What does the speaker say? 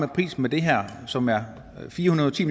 prisen på det her som er fire hundrede og ti